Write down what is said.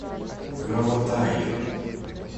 граватаи